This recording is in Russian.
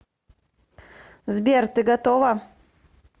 сбер ты готова